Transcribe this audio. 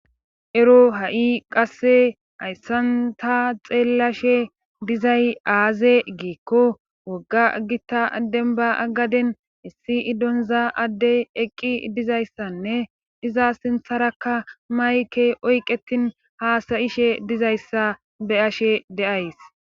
Ero ha'i qasse ayssanta xeellashe dizay aaze geekko wogga gita adden ba agaden issi idonza addey eqqi dizayssanne iza sintharakka mayke oyqetin haasayishe dizayssa be ashe deays